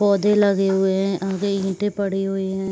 पौधे लगे हुए हैं आगे ईटें पड़ी हुई हैं।